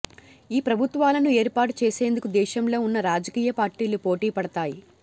ఆ ప్రభుత్వాలను ఏర్పాటు చేసేందుకు దేశంలో ఉన్న రాజకీయ పార్టీలు పోటీపడతాయి